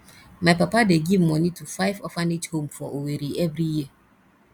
my papa dey give moni to five orphanage home for owerri every year